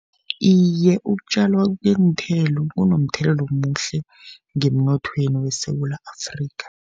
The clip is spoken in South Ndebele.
Iye, ukutjalwa kweenthelo kunomthelela omuhle, ngemnothweni weSewula Afrikha.